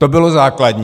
To bylo základní!